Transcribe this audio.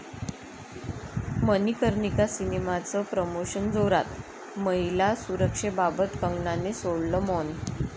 मणिकर्णिका सिनेमाचं प्रोमोशन जोरात, महिला सुरक्षेबाबत कंगनाने सोडलं मौन